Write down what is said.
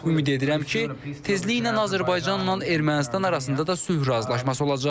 Ümid edirəm ki, tezliklə Azərbaycanla Ermənistan arasında da sülh razılaşması olacaq.